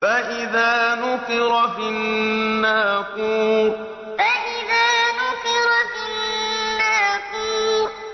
فَإِذَا نُقِرَ فِي النَّاقُورِ فَإِذَا نُقِرَ فِي النَّاقُورِ